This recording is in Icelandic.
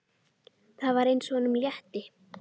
Það var eins og honum létti.